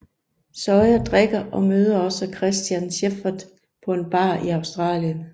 Sawyer drikker og møder også Christian Shephard på en bar i Australien